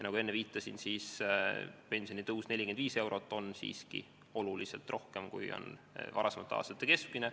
Nagu enne viitasin, pensionitõus 45 eurot on siiski oluliselt rohkem kui varasemate aastate keskmine.